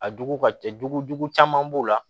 A jugu ka ca dugu jugu caman b'o la